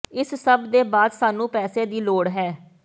ਇਸ ਸਭ ਦੇ ਬਾਅਦ ਸਾਨੂੰ ਪੈਸੇ ਦੀ ਲੋੜ ਹੈ